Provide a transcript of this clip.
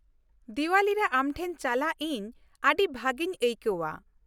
ᱫᱤᱣᱟᱞᱤ ᱨᱮ ᱟᱢᱴᱷᱮᱱ ᱪᱟᱞᱟᱜ ᱤᱧ ᱟᱹᱰᱤ ᱵᱷᱟᱹᱜᱤᱧ ᱟᱹᱭᱠᱟᱹᱣᱼᱟ ᱾